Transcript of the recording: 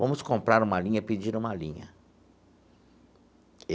Vamos comprar uma linha e pedir uma linha.